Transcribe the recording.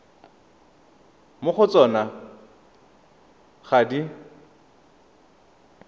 mo go tsona ga di